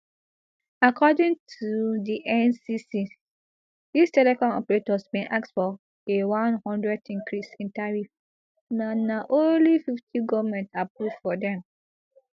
according to di ncc dis telecom operators bin ask for a one hundred increase in tariff but na only fifty goment approve for dem